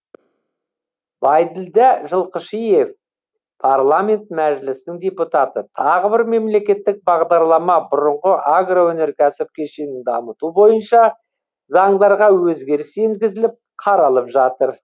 байділдә жылқышиев парламент мәжілісінің депутаты тағы бір мемлекеттік бағдарлама бұрынғы агроөнеркәсіп кешенін дамыту бойынша заңдарға өзгеріс енгізіліп қаралып жатыр